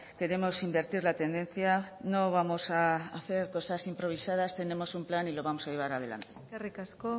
queremos invertir la tendencia no vamos a hacer cosas improvisadas tenemos un plan y lo vamos a llevar adelante eskerrik asko